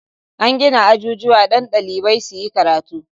An gina ajujuwa don ɗalibai su yi karatu.